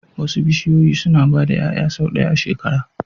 Wasu bishiyoyi suna ba da 'ya'ya sau ɗaya a shekara